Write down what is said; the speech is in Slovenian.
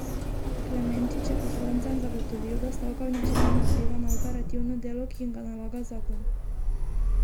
Klemenčič je poslancem zagotovil, da stavka v ničemer ne vpliva na operativno delo, ki jim ga nalaga zakon.